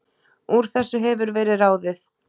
Úr þessu hefur verið ráðið